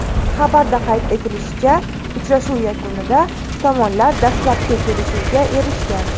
Xabarda qayd etilishicha, uchrashuv yakunida tomonlar dastlabki kelishuvga erishgan.